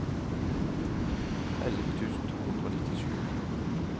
elleve tusen to hundre og nittisju